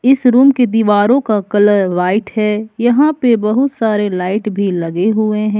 इस रूम की दीवारों का कलर व्हाइट है यहां पे बहुत सारे लाइट भी लगे हुए हैं।